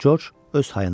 Corc öz hayındaydı.